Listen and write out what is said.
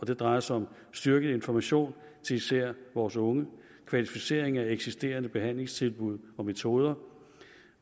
det drejer sig om styrket information til især vores unge kvalificering af eksisterende behandlingstilbud og metoder